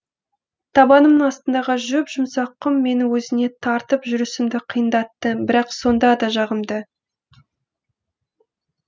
табанымның астындағы жұп жұмсақ құм мені өзіне тартып жүрісімді қиындатты бірақ сонда да жағымды